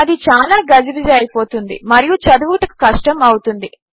అది చాలా గజిబిజి అయిపోతుంది మరియు చదువుటకు కష్టము అవుతుంది